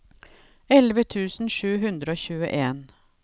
elleve tusen sju hundre og tjueen